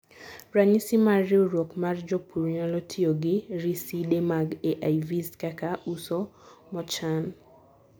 ranyisi mar riwruok mar jopur nyalo tiyo gi riside mag AIVs kaka uso mochan